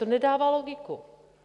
To nedává logiku.